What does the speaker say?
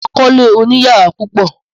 Mà á kọ́lé oníyàrá púpọ̀.